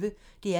DR P1